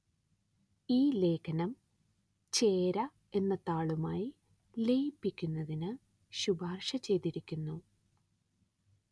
ഈ ലേഖനം ചേര എന്ന താളുമായി ലയിപ്പിക്കുന്നതിന്‌ ശുപാര്‍ശ ചെയ്തിരിക്കുന്നു